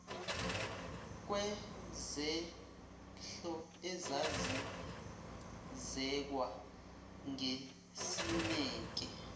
kwezehlo ezazizekwa ngesineke